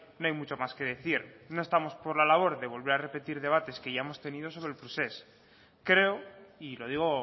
no hay mucho más que decir no estamos por la labor de volver a repetir debates que ya hemos tenido sobre el procés creo y lo digo